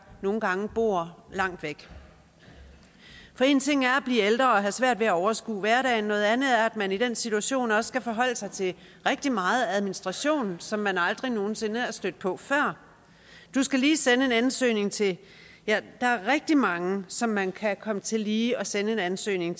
nogle gange bor langt væk for én ting er at blive ældre og have svært ved at overskue hverdagen noget andet er at man i den situation også skal forholde sig til rigtig meget administration som man aldrig nogen sinde er stødt på før du skal lige sende en ansøgning til ja der er rigtig mange som man kan komme til lige at sende en ansøgning